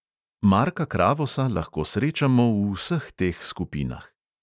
Marka kravosa lahko srečamo v vseh teh skupinah.